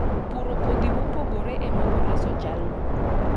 Puro kodhi mopogore em boreso jalno.